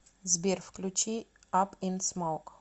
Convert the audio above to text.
сбер включи ап ин смоук